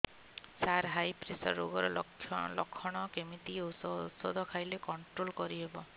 ସାର high pressure ରୋଗର ଲଖଣ କେମିତି କି ଓଷଧ ଖାଇଲେ କଂଟ୍ରୋଲ କରିହେବ